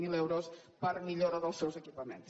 zero euros per a millora dels seus equipaments